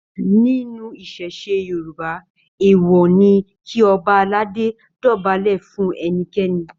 Nínú ìṣẹ̀ṣe Yorùbá, èèwọ̀ ni kí Ọba aládé dọ̀bálẹ̀ fún ẹnikẹ́ni.